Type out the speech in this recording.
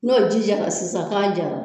N'o ji jara sisan k'a jara